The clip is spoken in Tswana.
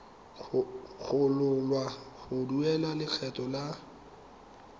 gololwa go duela lekgetho la